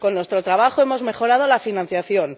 Con nuestro trabajo hemos mejorado la financiación.